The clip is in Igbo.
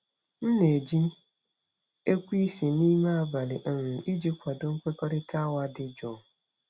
M na-eji ekweisi n'ime abalị um iji kwado nkwekọrịta awa dị jụụ.